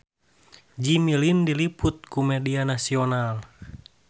Jimmy Lin diliput ku media nasional